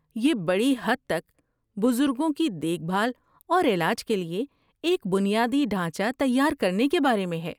یہ بڑی حد تک بزرگوں کی دیکھ بھال اور علاج کے لیے ایک بنیادی ڈھانچہ تیار کرنے کے بارے میں ہے۔